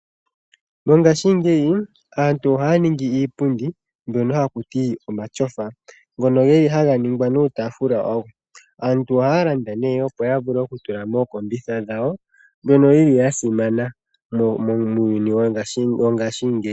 Mongaashingeyi aantu ohaya ningi iipundi mbyono haku ti omatyofa, ngono geli haga ningwa nuutafula wago. Aantu ohaya landa nee opo yavule oku tula mookombitha dhawo, mbyono yili ya simana muuyuni wongaashingeyi.